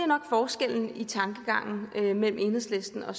nok forskellen i tankegangen mellem enhedslisten og